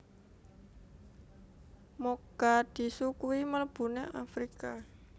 Mogadishu kui mlebune Afrika